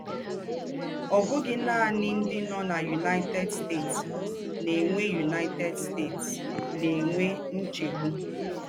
Ọ̀ bụ́ghì nànì ńdị́ nọ́ ná United States ná-ènwè United States ná-ènwè ńchègbù.